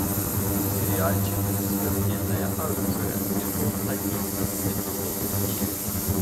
сериальчик смертельное оружие сезон один эпизод девять